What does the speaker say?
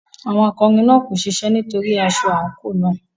Àwọn akọrin náà kò ṣiṣẹ́ nítorí aṣọ àǹkóò náà.